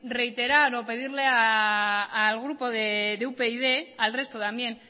reiterar o pedirle al grupo de upyd y al resto también